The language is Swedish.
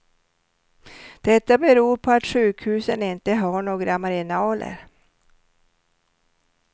Detta beror på att sjukhusen inte har några marginaler.